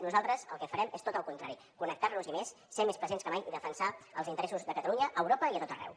nosaltres el que farem és tot el contrari connectar nos hi més ser hi més presents que mai i defensar els interessos de catalunya a europa i a tot arreu